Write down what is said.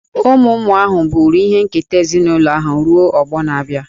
Ụmụ ụmụ ahụ buru ihe nketa ezinụlọ ahụ ruo ọgbọ na-abịa.